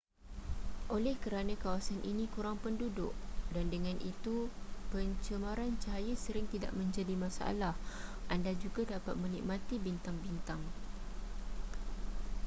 oleh kerana kawasan ini kurang penduduk dan dengan itu pencemaran cahaya sering tidak menjadi masalah anda juga dapat menikmati bintang-bintang